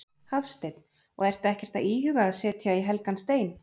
Hafsteinn: Og ertu ekkert að íhuga að setja í helgan stein?